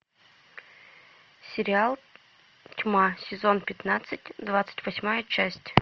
сериал тьма сезон пятнадцать двадцать восьмая часть